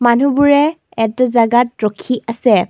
মানুহবোৰে একটো জেগাত ৰখি আছে।